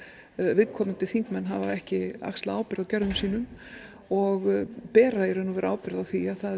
viðkomandi þingmenn hafa ekki axlað ábyrgð á gjörðum sínum og bera í raun og veru ábyrgð á því að það